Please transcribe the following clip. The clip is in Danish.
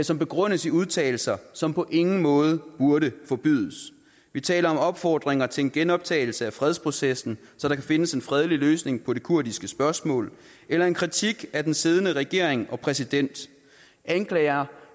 som begrundes i udtalelser som på ingen måde burde forbydes vi taler om opfordringer til en genoptagelse af fredsprocessen så der kan findes en fredelig løsning på det kurdiske spørgsmål eller en kritik af den siddende regering og præsident anklager